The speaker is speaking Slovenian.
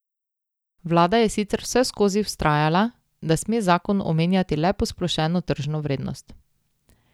Vlada je sicer vseskozi vztrajala, da sme zakon omenjati le posplošeno tržno vrednost.